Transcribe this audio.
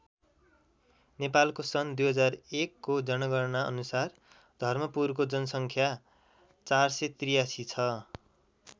नेपालको सन् २००१ को जनगणना अनुसार धर्मपुरको जनसङ्ख्या ४८३ छ।